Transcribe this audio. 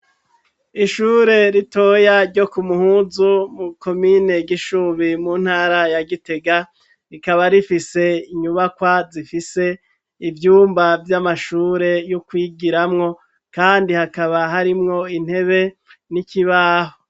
Ishure ritoya ryo ku muhuzu mu komine gishubi mu ntara ya gitega rikaba rifise inyubakwa zifise ivyumba vy'amashure yo kwigiramwo kandi hakaba harimwo intebe n'ikibaho.